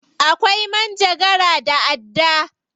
Akwai manjagara da adda.